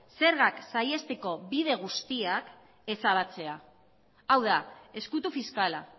zergak saihesteko bide guztiak ezabatzea hau da ezkutu fiskala